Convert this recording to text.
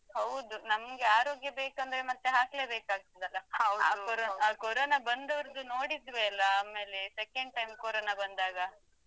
ಹೌದು. ನಮ್ಗೆ ಆರೋಗ್ಯ ಬೇಕಂದ್ರೆ ಮತ್ತೆ ಹಾಕ್ಲೆ ಬೇಕಾಗ್ತದೆ ಅಲಾ. ಆ Corona ಆ Corona ಬಂದವರ್ದು ನೋಡಿದ್ವೆ ಅಲಾ ಆಮೇಲೆ second time Corona ಬಂದಾಗ.